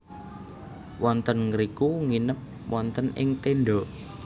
Wonten ngriku nginep wonten ing tenda